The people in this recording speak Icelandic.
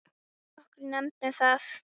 Nokkrir nefndu það.